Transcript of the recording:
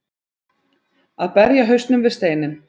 Að berja hausnum við steininn